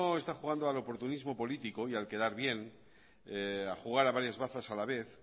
está jugando al oportunismo político y al quedar bien a jugar a varias bazas a la vez